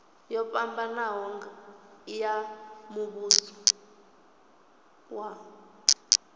yo fhambanaho ya muvhuso wa